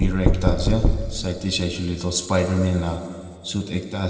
aru ekta ase side de saishe koile toh spiderman la suit ekta ase.